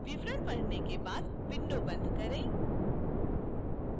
विवरण पढ़ने के बाद window बंद करें